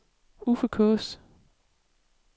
Uffe Kaas